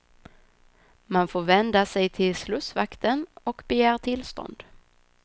Man får vända sig till slussvakten och begära tillstånd.